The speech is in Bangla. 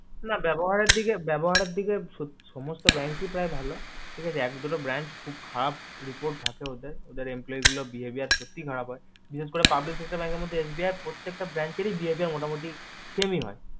না ব্যবহারের দিকে ব্যবহারের দিকে সমস্ত bank ই প্রায় ভালো ঠিকাছে এক দুটো branch খুব খারাপ report থাকে ওদের ওদের employe গুলোর behavior সত্যি খারাপ হয় বিশেষ করে public sector এর মধ্যে SBI র প্রত্যেকটা branch রি behavior মোটামুটি same ই হয়